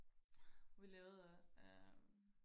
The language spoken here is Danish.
vi lavede øh